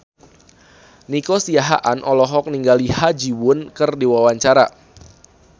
Nico Siahaan olohok ningali Ha Ji Won keur diwawancara